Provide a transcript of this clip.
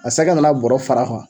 a sɛgɛ nana bɔrɔ fara